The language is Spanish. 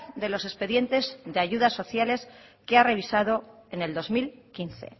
de los expedientes de ayudas sociales que ha revisado en el dos mil quince